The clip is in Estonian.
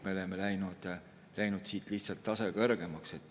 Me oleme läinud lihtsalt taseme võrra kõrgemale.